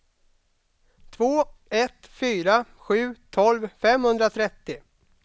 två ett fyra sju tolv femhundratrettio